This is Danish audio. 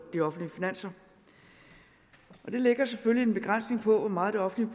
de offentlige finanser det lægger selvfølgelig en begrænsning på hvor meget det offentlige